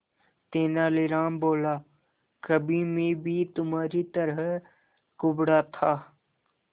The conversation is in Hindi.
तेनालीराम बोला कभी मैं भी तुम्हारी तरह कुबड़ा था